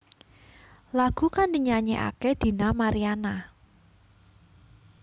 Lagu kang dinyanyèkaké Dina Mariana